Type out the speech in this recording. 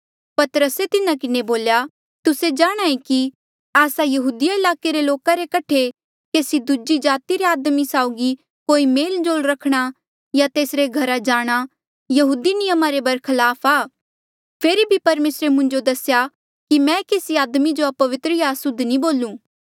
पतरसे तिन्हा किन्हें बोल्या तुस्से जाणहां ऐें कि आस्सा यहूदिया ईलाके रे लोका रे कठे केसी दूजी जाति रे आदमी साउगी कोई मेल जोल रखणा या तेसरे घरा जाणा यहूदी नियमा रे बरख्लाफ आ फेरी भी परमेसरे मुंजो दसेया कि मैं केसी आदमी जो अपवित्र या असुद्ध नी बोलू